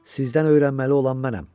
Sizdən öyrənməli olan mənəm.